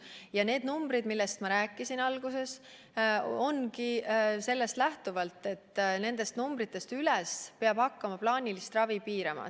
Ja need numbrid, millest ma alguses rääkisin, lähtuvadki sellest, et nendest numbritest üles peab hakkama plaanilist ravi piirama.